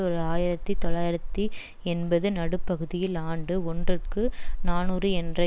ஓர் ஆயிரத்தி தொள்ளாயிரத்தி எண்பது நடுப்பகுதியில் ஆண்டு ஒன்றுக்கு நாநூறு என்ற